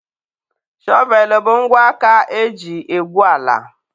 Shọvelụ bụ ngwa aka eji egwu ala.